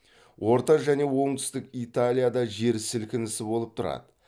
орта және оңтүстік италияда жер сілкінісі болып тұрады